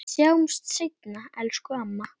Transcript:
Við sjáumst seinna, elsku amma.